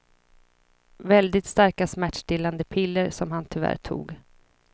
Väldigt starka smärtstillande piller som han tyvärr tog.